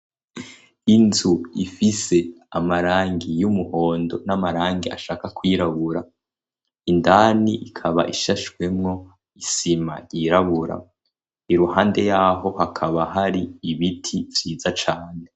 Inzu ifise amarangi y'umuhondo n'amarangi ashaka kwirabura, indani ikaba ishashwemo isima ryirabura, iruhande yaho hakaba hari ibiti vyiza cane.